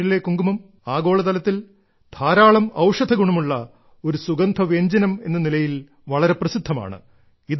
കശ്മീരിലെ കുങ്കുമം ആഗോളതലത്തിൽ ധാരാളം ഔഷധഗുണമുള്ള ഒരു സുഗന്ധവ്യഞ്ജനമെന്ന നിലയിൽ വളരെ പ്രസിദ്ധമാണ്